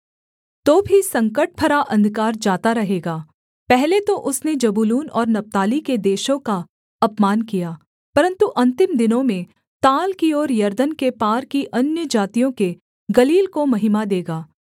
तो भी संकटभरा अंधकार जाता रहेगा पहले तो उसने जबूलून और नप्ताली के देशों का अपमान किया परन्तु अन्तिम दिनों में ताल की ओर यरदन के पार की अन्यजातियों के गलील को महिमा देगा